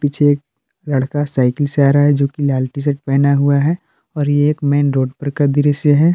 पीछे एक लड़का साइकिल से आ रहा है जो की लाल टी शर्ट पहना हुआ है और ये एक मेन रोड पर का दृश्य है।